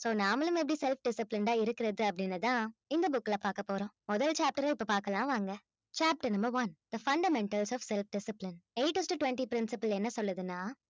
so நாமளும் எப்படி self disciplined ஆ இருக்கிறது அப்படின்னுதான் இந்த book ல பார்க்க போறோம் முதல் chapter ஐ இப்ப பார்க்கலாம் வாங்க chapter number one the fundamentals of self discipline eight is to twenty principle என்ன சொல்லுதுன்னா